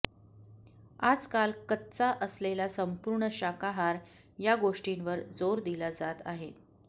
आजकाल कच्चा असलेला संपूर्ण शाकाहार या गोष्टींवर जोर दिला जात आहे